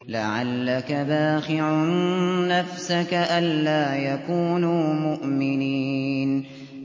لَعَلَّكَ بَاخِعٌ نَّفْسَكَ أَلَّا يَكُونُوا مُؤْمِنِينَ